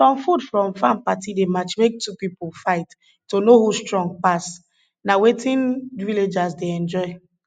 some food from farm party dey match make two pipo fight to know who strong pass na um wetin villagers dey enjoy